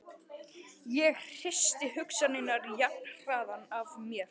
Ég hristi hugsanirnar jafnharðan af mér.